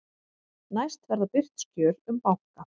Næst verða birt skjöl um banka